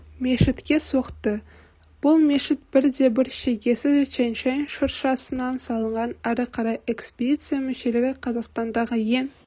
мешітке соқты бұл мешіт бірде бір шегесіз тянь-шань шыршасынан салынған ары қарайэкспедиция мүшелері қазақстандағы ең